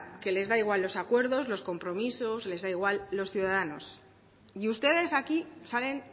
que les da igual los acuerdos los compromisos les de igual los ciudadanos y ustedes aquí salen